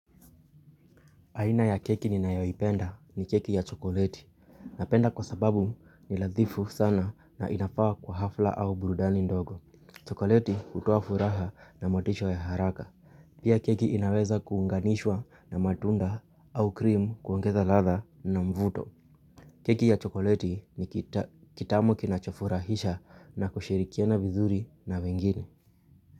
Aina ya keki ninayo ipenda ni keki ya chokoleti. Napenda kwa sababu ni lathifu sana na inafaa kwa hafla au burudani ndogo. Chokoleti hutoa furaha na motisho ya haraka. Pia keki inaweza kuunganishwa na matunda au cream kuongeza ladhaa na mvuto. Keki ya chokoleti ni kitamu kinachofurahisha na kushirikiana vizuri na wengine.